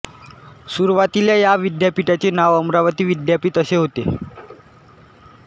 सुरवातीला या विद्यापिठाचे नाव अमरावती विद्यापिठ असे होते